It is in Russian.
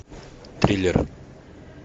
триллер